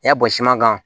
I y'a bɔ siman kan